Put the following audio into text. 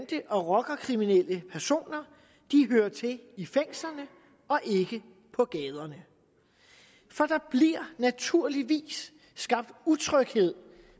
og rockerkriminelle personer hører til i fængslerne og ikke på gaderne for der bliver naturligvis skabt utryghed